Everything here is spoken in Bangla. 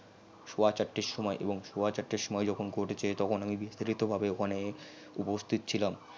সোয়া চারটের সমই এবং সোয়া চারটের সমই যখন court এ যাই তখন আমি বিস্তারিত ভাবে ওখানে উপস্থিত ছিলাম